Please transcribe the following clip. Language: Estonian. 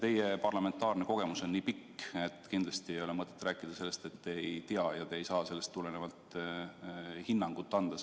Teie parlamentaarne kogemus on nii pikk, et kindlasti teil ei ole mõtet öelda, et te ei tea, kuidas seda eelnõu menetletud on, ja te ei saa sellest tulenevalt oma hinnangut anda.